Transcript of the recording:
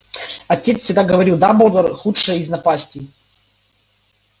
отец всегда говорил дамблдор худшая из напастей